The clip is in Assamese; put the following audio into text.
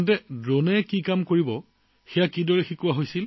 ইয়াৰ পিছত কওকচোন ড্ৰোনখন কেনেকৈ চলাবলৈ শিকাইছিল